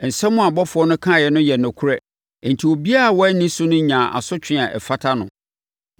Nsɛm a abɔfoɔ no kaeɛ no yɛ nokorɛ enti obiara a wanni so no nyaa asotwe a ɛfata no.